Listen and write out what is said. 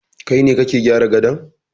Kai ne kake gyara gadon